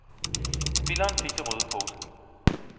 Spilleren fik det røde kort.